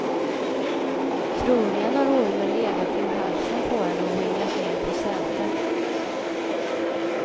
Troligen har ormen legat kring halsen på henne och ringlat ner på sätet.